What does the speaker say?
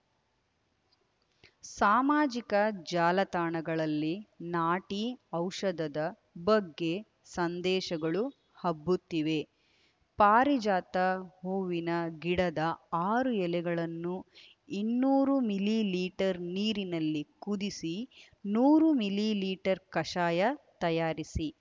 ಸಾಮಾಜಿಕ ಜಾಲತಾಣಗಳಲ್ಲಿ ನಾಟಿ ಔಷಧದ ಬಗ್ಗೆ ಸಂದೇಶಗಳು ಹಬ್ಬುತ್ತಿವೆ ಪಾರಿಜಾತ ಹೂವಿನ ಗಿಡದ ಆರು ಎಲೆಗಳನ್ನು ಇನ್ನೂರು ಮಿಲಿ ಲೀಟರ್ ನೀರಿನಲ್ಲಿ ಕುದಿಸಿ ನೂರು ಮಿಲಿ ಲೀಟರ್ ಕಷಾಯ ತಯಾರಿಸಿ